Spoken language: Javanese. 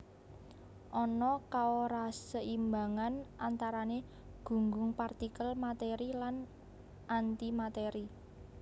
Ana kaoraseimbangan antarané gunggung partikel matèri lan antimatèri